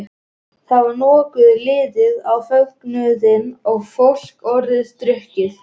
Þá var nokkuð liðið á fögnuðinn og fólk orðið drukkið.